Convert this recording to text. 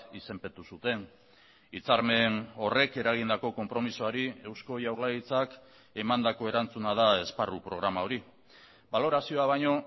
izenpetu zuten hitzarmen horrek eragindako konpromisoari eusko jaurlaritzak emandako erantzuna da esparru programa hori balorazioa baino